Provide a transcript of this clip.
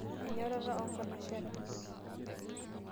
Enyorata oonkanashera.